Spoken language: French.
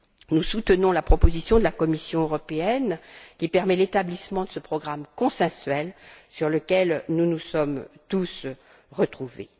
Nous soutenons la proposition de la Commission européenne, qui permet l'établissement de ce programme consensuel sur lequel nous nous sommes tous retrouvés.